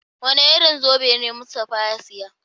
Wane irin zobe na Mustapha ya saya?